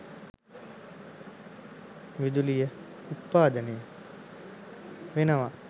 විදුලිය උත්පාදනය වෙනව.